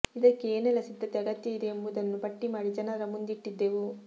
ಇದಕ್ಕೆ ಏನೆಲ್ಲ ಸಿದ್ಧತೆ ಅಗತ್ಯ ಇದೆ ಎಂಬುದನ್ನು ಪಟ್ಟಿ ಮಾಡಿ ಜನರ ಮುಂದಿಟ್ಟಿದ್ದೆವು